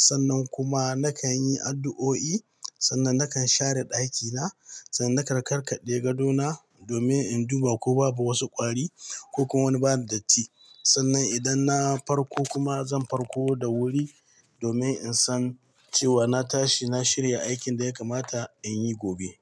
Sannan kuma nakan yi addu'o'i. Sannan nakan share ɗakina. Sannan nakan karkade gadona domin in duba ko babu wasu ƙwari ko kuma wani bada datti. Sannan idan na farko kuma zan farko da wuri domin in san cewa na tashi, na shirya aikin da ya kamata in yi gobe.